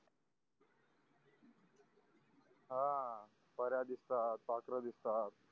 हा पऱ्या दिसतात पाखरं दिसतात